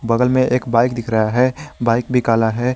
बगल में एक बाइक दिख रहा है बाइक भी कला है।